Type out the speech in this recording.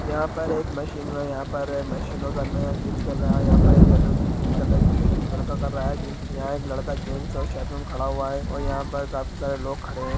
यहाँ पर एक मशीन व यहाँ पर मशीनों का नया जिम चल रहा है यहाँ पर येल्लो ग्रीन कलर की टी-शर्ट में लड़का कर रहा है जिम यहाँ एक लड़का जीन्स और शर्ट में खड़ा हुआ है और यहाँ पर काफी सारे लोग खड़े हैं।